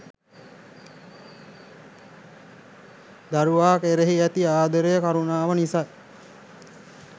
දරුවා කෙරෙහි ඇති ආදරය, කරුණාව නිසයි.